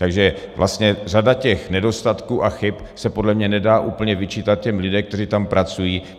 Takže vlastně řada těch nedostatků a chyb se podle mě nedá úplně vyčítat těm lidem, kteří tam pracují.